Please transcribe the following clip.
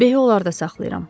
Behi onlarda saxlayıram.